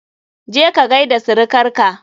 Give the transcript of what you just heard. Je ka gaida sirikar ka!